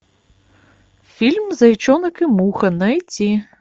фильм зайчонок и муха найти